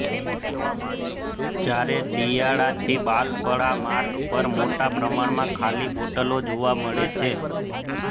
જ્યારે ચીયાડાથી બાલપરા માર્ગ પર મોટા પ્રમાણમાં ખાલી બોટલો જોવા મળે છે